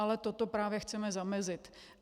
Ale tomu právě chceme zamezit.